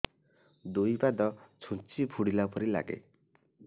ଦୁଇ ପାଦ ଛୁଞ୍ଚି ଫୁଡିଲା ପରି ଲାଗେ